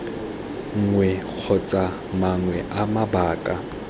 nngwe kgotsa mangwe a mabaka